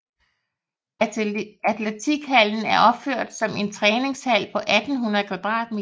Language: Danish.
Atletikhallen er opført som en træningshal på 1800 m²